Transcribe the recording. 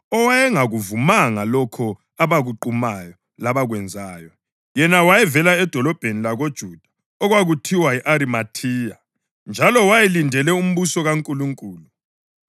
owayengakuvumanga lokho abakuqumayo labakwenzayo. Yena wayevela edolobheni lakoJuda okwakuthiwa yi-Arimathiya, njalo wayelindele umbuso kaNkulunkulu.